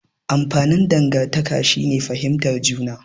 Amfanin dangantaka shine fihimtar juna.